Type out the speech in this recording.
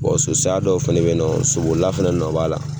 so saya dɔw fɛnɛ bɛ yen nɔ sobolila fɛnɛ nɔn b'a la